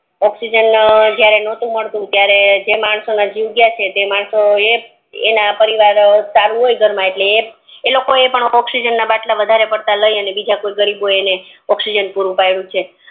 oxygen જ્યારે નટુ મળતું ત્યારે જે માણસો નો જીવ ગયો છે તે માણસો ના પરિવાર સારું હોય ઘર મા એટલ ઈ ઑક્સીજન ના બટલા વધારાના લઈ બીજા કોઈ ગરીબો ને ઑક્સીજન પૂરું પેડુ છે